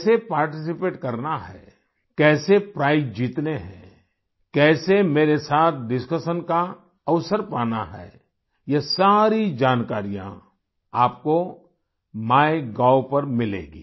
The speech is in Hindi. कैसे पार्टिसिपेट करना है कैसे प्राइज जीतने है कैसे मेरे साथ डिस्कशन का अवसर पाना है यह सारी जानकारियाँ आपको माइगोव पर मिलेंगी